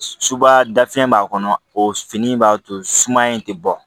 Suba dafiyɛn b'a kɔnɔ o fini in b'a to suma in tɛ bɔ